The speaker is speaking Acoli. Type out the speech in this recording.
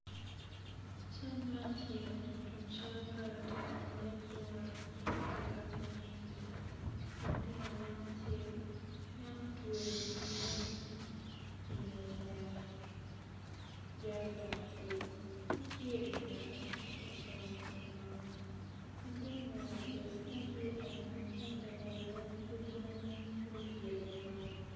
Cal man tye ka nyuto cal pa lutino ma gin gua ka gamo pii latin anyaka acel en otweyo piine inge lela jeriken acel pud tye ingete ocung i ngom latin nyako acel latin nyako acel en tye anyim ento lela ojengo pud opyelo i ngom.